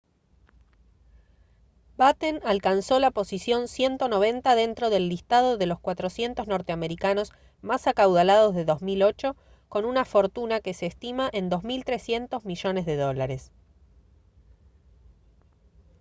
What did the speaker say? batten alcanzó la posición 190 dentro del listado de los 400 norteamericanos más acaudalados de 2008 con una fortuna que se estima en $2300 millones de dólares